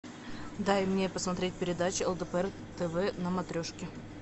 дай мне посмотреть передачу лдпр тв на матрешке